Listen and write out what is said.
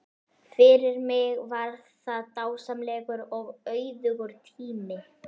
Fyrir mig var það dásamlegur og auðugur tími.